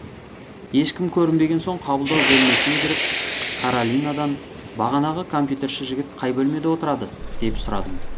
ешкім көрінбеген соң қабылдау бөлмесіне кіріп каролинадан бағанағы компьютерші жігіт қай бөлмеде отырады деп сұрадым